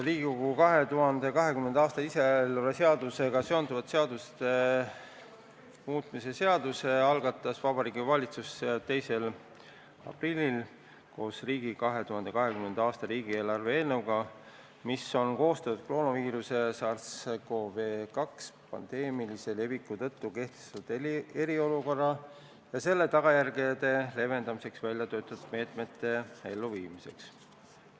Riigi 2020. aasta lisaeelarve seadusega seonduvate seaduste muutmise seaduse algatas Vabariigi Valitsus 2. aprillil koos 2020. aasta riigi lisaeelarve eelnõuga, mis on koostatud koroonaviiruse SARS-CoV-2 pandeemilise leviku tõttu kehtestatud eriolukorra ja selle tagajärgede leevendamiseks väljatöötatud meetmete elluviimiseks.